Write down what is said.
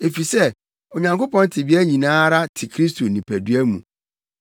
Efisɛ Onyankopɔn tebea nyinaa ara te Kristo nipadua mu,